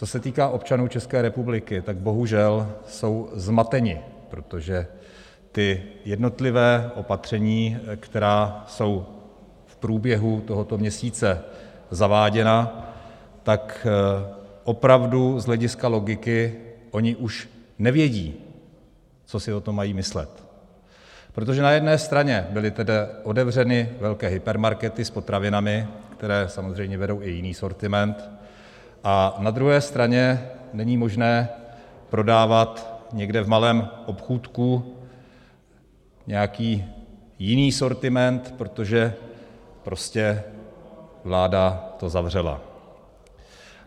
Co se týká občanů České republiky, tak bohužel jsou zmateni, protože ta jednotlivá opatření, která jsou v průběhu tohoto měsíce zaváděna, tak opravdu z hlediska logiky oni už nevědí, co si o tom mají myslet, protože na jedné straně byly tedy otevřeny velké hypermarkety s potravinami, které samozřejmě vedou i jiný sortiment, a na druhé straně není možné prodávat někde v malém obchůdku nějaký jiný sortiment, protože prostě vláda to zavřela.